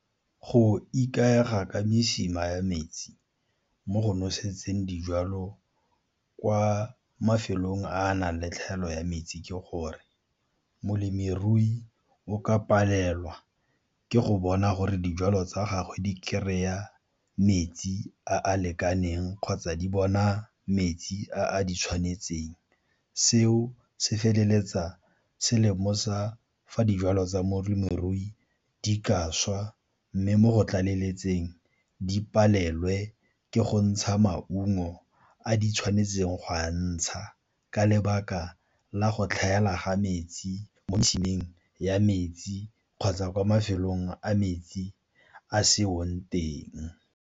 Go ikaega ka mesima ya metsi mo go nosetseng dijwalo kwa mafelong a a nang le tlhaelo ya metsi ke gore molemirui o ka palelwa ke go bona gore dijwalo tsa gagwe di kry-a metsi a a lekaneng kgotsa di bona metsi a di tshwanetseng. Seo se feleletsa se lemosa fa dijwalo tsa molemirui di ka swa mme mo go tlaleletseng di palelwe ke go ntsha maungo a di tshwanetseng go a ntsha, ka lebaka la go tlhaela ga metsi mo metšhining ya metsi kgotsa kwa mafelong a metsi a seong teng.